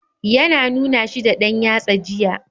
Ya na nuna shi da ɗan yatsa jiya.